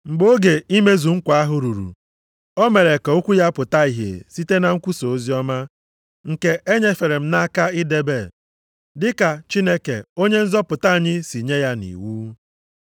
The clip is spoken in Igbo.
Mgbe oge imezu nkwa ahụ ruru, o mere ka okwu ya pụta ìhè site na nkwusa oziọma, nke e nyefere m nʼaka idebe, dị ka Chineke Onye nzọpụta anyị si nye ya nʼiwu.